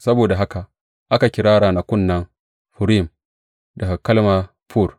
Saboda haka, aka kira ranakun nan Furim, daga kalma fur.